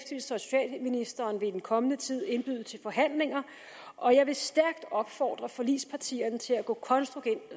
socialministeren vil i den kommende tid indbyde til forhandlinger og jeg vil stærkt opfordre forligspartierne til at gå